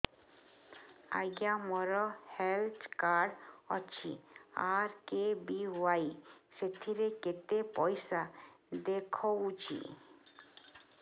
ଆଜ୍ଞା ମୋର health card ଅଛି ଆର୍.କେ.ବି.ୱାଇ ସେଥିରେ କେତେ ପଇସା ଦେଖଉଛି